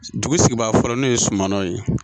Dugu sigibaa fɔlɔ n'o ye Sumano ye